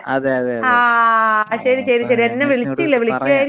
രമേശിനോട് പറയാം ആഹ്.